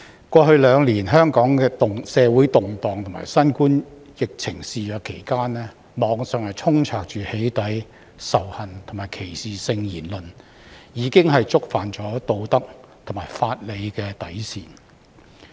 過去兩年香港社會動盪及新冠疫情肆虐期間，網上充斥"起底"、仇恨及歧視性言論，已經觸犯道德和法理的底線。